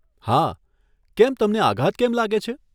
હા, કેમ તમને આઘાત કેમ લાગે છે?